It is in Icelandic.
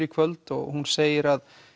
í kvöld og hún segir